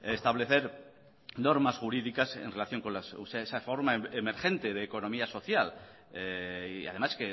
establecer normas jurídicas en relación con esa forma emergente de economía social y además